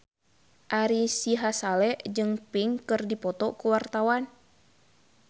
Ari Sihasale jeung Pink keur dipoto ku wartawan